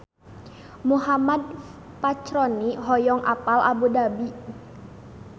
Muhammad Fachroni hoyong apal Abu Dhabi